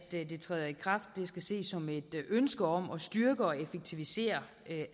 det træder i kraft skal ses som et ønske om at styrke og effektivisere